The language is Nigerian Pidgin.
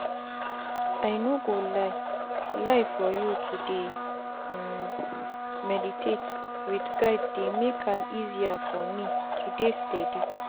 i no go lie lie for you to dey um medidate wit guide dey make am easier for me to dey steadi.